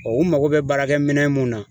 u mago bɛ baarakɛminɛn mun na